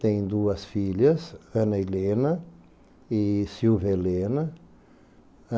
Tem duas filhas, Ana Helena e Silvia Helena.